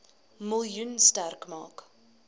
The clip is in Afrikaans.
miljoen sterk maak